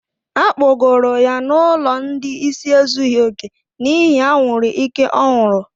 Akpọgoro ya n'ụlọ ndị ịsị ezughi oke n'ihi anwuru ike ọ ṅụrụ.